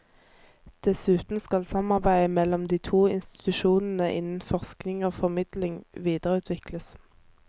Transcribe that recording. Dessuten skal samarbeidet mellom de to institusjonene innen forskning og formidling videreutvikles.